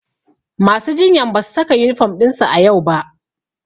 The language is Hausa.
Masu jinyan ba su saka yunifom ɗinsu a yau ba.